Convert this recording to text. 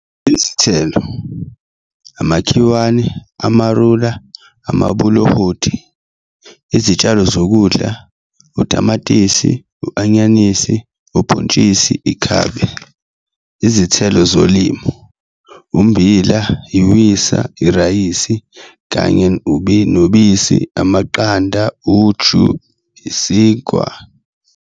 Izithelo, amakhiwane, amarula, amabolohoti. Izitshalo zokudla, utamatisi, u,-anyanisi, ubhontshisi, ikhabe. Izithelo zolimo, ummbila, iwisa, irayisi, kanye nobisi, amaqanda, uju, isinkwa.